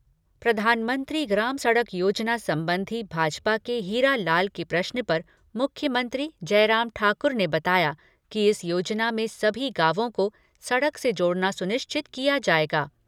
प्रधानमंत्री ग्राम सड़क योजना संबंधी भाजपा के हीरा लाल के प्रश्न पर मुख्यमंत्री जयराम ठाकुर ने बताया कि इस योजना में सभी गांवों को सड़क से जोड़ना सुनिश्चित किया जाएगा।